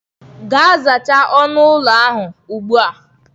Gaa zachaa onu ụlọ ahụ ugbu a.